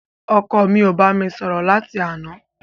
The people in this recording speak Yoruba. Ọkọ mi ò bámi sọ̀rọ̀ láti àná.